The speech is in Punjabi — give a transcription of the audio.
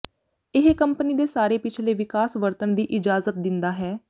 ਇਹ ਕੰਪਨੀ ਦੇ ਸਾਰੇ ਪਿਛਲੇ ਵਿਕਾਸ ਵਰਤਣ ਦੀ ਇਜਾਜ਼ਤ ਦਿੰਦਾ ਹੈ